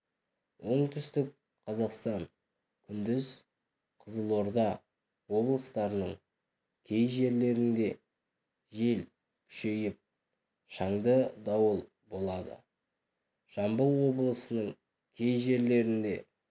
оңтүстік қазақстан күндіз қызылорда облыстарының кей жерлерінде жел күшейіп шаңды дауыл болады жамбыл облысының кей жерлерінде